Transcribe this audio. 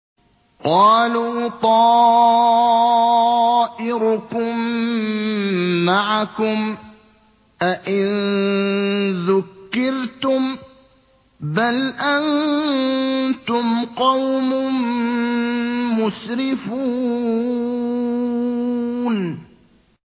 قَالُوا طَائِرُكُم مَّعَكُمْ ۚ أَئِن ذُكِّرْتُم ۚ بَلْ أَنتُمْ قَوْمٌ مُّسْرِفُونَ